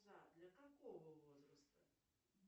для какого возраста